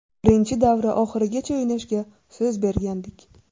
Birinchi davra oxirigacha o‘ynashga so‘z bergandik.